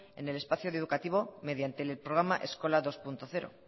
en el espacio educativo mediante el programa eskola dos punto cero